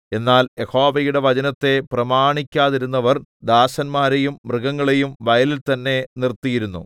എന്നാൽ യഹോവയുടെ വചനത്തെ പ്രമാണിക്കാതിരുന്നവർ ദാസന്മാരെയും മൃഗങ്ങളെയും വയലിൽ തന്നെ നിർത്തിയിരുന്നു